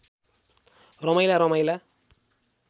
रमाइला रमाइला